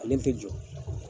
Ale tɛ jɔ.